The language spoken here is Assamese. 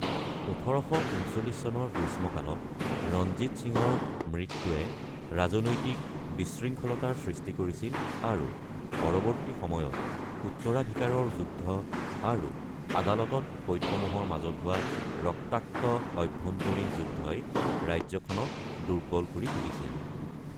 ১৮৩৯ চনৰ গ্ৰীষ্মকালত ৰঞ্জিত সিঙৰ মৃত্যুৱে ৰাজনৈতিক বিশৃংখলতাৰ সৃষ্টি কৰিছিল আৰু পৰৱৰ্তী সময়ত উত্তৰাধিকাৰৰ যুদ্ধ আৰু আদালতত ফৈদসমূহৰ মাজত হোৱা ৰক্তাক্ত আভ্যন্তৰীণ যুদ্ধই ৰাজ্যখনক দুৰ্বল কৰি তুলিছিল।